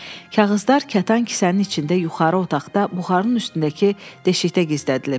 Kağızlar kətan kisənin içində yuxarı otaqda buxarın üstündəki deşikdə gizlədilib.